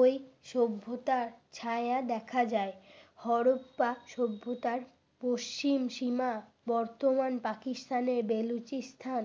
ওই সভ্যতার ছায়া দেখা যায়। হরপ্পা সভ্যতার পশ্চিম সীমা বর্তমান পাকিস্তানের বেলুচিস্থান